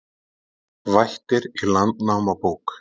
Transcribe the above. Vættir í Landnámabók